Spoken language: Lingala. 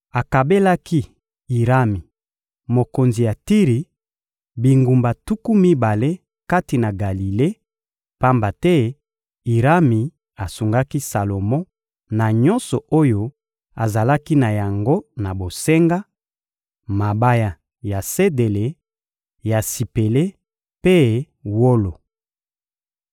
akabelaki Irami, mokonzi ya Tiri, bingumba tuku mibale kati na Galile, pamba te Irami asungaki Salomo na nyonso oyo azalaki na yango na bosenga: mabaya ya sedele, ya sipele mpe wolo.